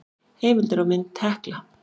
Heimildir og mynd Hekla.